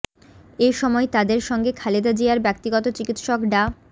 এ সময় তাদের সঙ্গে খালেদা জিয়ার ব্যক্তিগত চিকিৎসক ডা